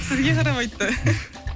сізге қарап айтты